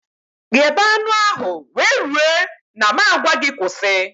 Ghebe anụ ahụ wee rue na m a gwa gị kwụsị